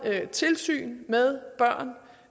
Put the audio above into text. tilsyn med børn